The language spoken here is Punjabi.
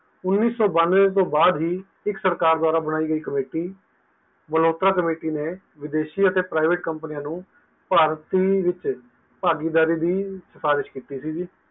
ਉਨੀ ਸੋ ਬਾਨਵੇ ਤੋਂ ਬਾਅਦ ਹੈ ਇੱਕ ਸਰਕਾਰ ਦਵਾਰਾਂ committee ਮੋਲਹੋਤਰਾ committee ਨੇ ਵਿਦੇਸ਼ੀ ਅਤੇ privatecompanies ਨੂੰ ਭਾਰਤੀ ਵਿੱਚ ਭਾਗੀਦਾਰੀ ਦੀ ਸਿਫ਼ਾਰਿਸ਼ ਕੀਤੀ ਸੀਗੀ